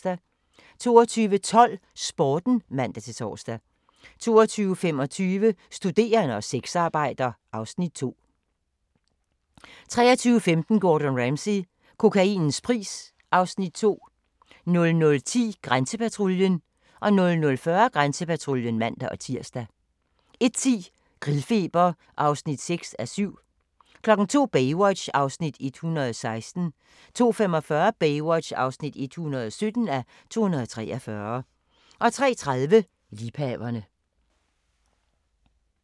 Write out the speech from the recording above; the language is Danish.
22:12: Sporten (man-tor) 22:25: Studerende og sexarbejder (Afs. 2) 23:15: Gordon Ramsay - kokainens pris (Afs. 2) 00:10: Grænsepatruljen 00:40: Grænsepatruljen (man-tir) 01:10: Grillfeber (6:7) 02:00: Baywatch (116:243) 02:45: Baywatch (117:243) 03:30: Liebhaverne